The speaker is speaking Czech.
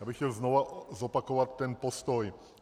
Já bych chtěl znovu zopakovat ten postoj.